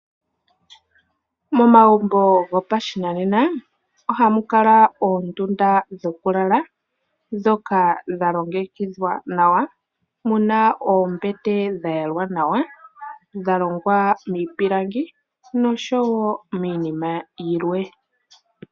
Momagumbo gopashinanena ohamu kala oondunda dhokulala, ndhoka dha longekidhwa nawa, muna oombete dha yalwa nawa, dha longwa miipilangi nosho wo miinima yilwe.